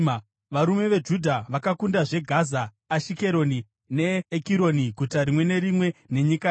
Varume veJudha vakakundazve Gaza, Ashikeroni neEkironi, guta rimwe nerimwe nenyika yaro.